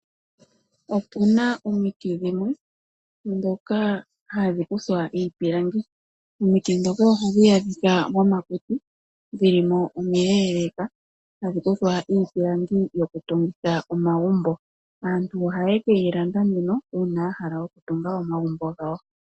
Opu na omiti dhimwe ndhoka hadhi kuthwa iipilangi. Ohadhi adhika momakuti dho omile na ohadhi kuthwa iipilangi yoku tungitha omagumbo. Aantu oha ye keyi landa nduno uuna yahala okutunga omagumbo gawo.